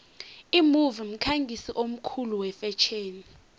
imove mkhangisi omkhulu wefetjheni